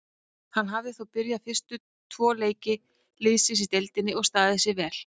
Hann hafði þó byrjað fyrstu tvo leiki liðsins í deildinni og staðið sig vel.